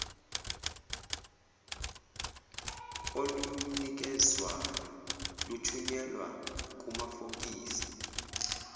olunikezwayo luthunyelwa kumafokisi